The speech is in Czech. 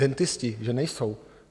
Dentisti že nejsou.